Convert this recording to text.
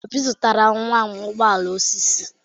Obi zụtara nwa m ụgbọ ala osisi.